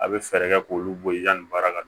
A bɛ fɛɛrɛ kɛ k'olu bɔ i yanni baara ka